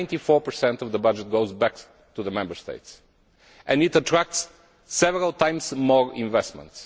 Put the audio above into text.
Ninety four per cent of the budget goes back to the Member States, and it attracts several times more investment.